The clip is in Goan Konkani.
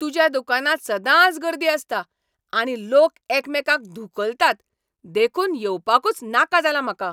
तुज्या दुकानांत सदांच गर्दी आसता आनी लोक एकामेकांक धुकलतात देखून येवपाकूच नाका जाला म्हाका.